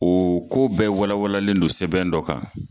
O ko bɛɛ walawalen don sɛbɛn dɔ kan